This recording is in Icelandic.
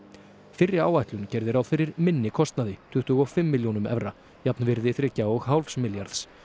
fyrri áætlun gerði ráð fyrir minni kostnaði tuttugu og fimm milljónum evra jafnvirði þriggja og hálfs milljarðs